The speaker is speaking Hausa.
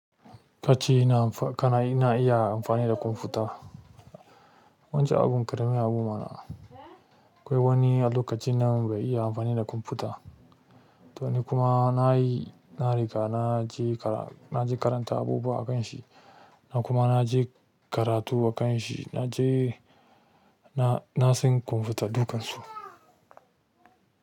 Kace nan amfa, kana na iya amfani da kwamfuta. Wancan abun ƙarami abu ma na. Akwai wani a lokacin nan bai iya amfani da kwamfuta. To ni kuma na yi, na riga na je karatu a kanshi na je, na, na san kwamfuta dukansu.